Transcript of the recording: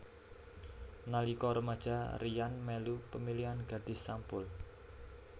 Nalika remaja Ryan melu pemilihan Gadis Sampul